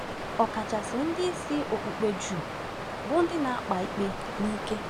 Ọkachasị ndị isi okpukpe Juu bụ ndị na-akpa ikpe n’ike.